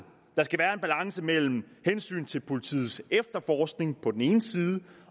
der skal være en balance mellem hensynet til politiets efterforskning på den ene side